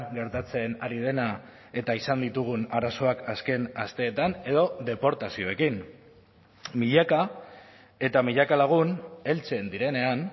gertatzen ari dena eta izan ditugun arazoak azken asteetan edo deportazioekin milaka eta milaka lagun heltzen direnean